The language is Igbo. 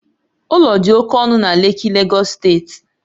Ụlọ dị oke ọnụ na Lekki, Lagos steeti